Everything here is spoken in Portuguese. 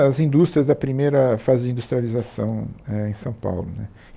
as indústrias da primeira fase de industrialização eh em São Paulo né.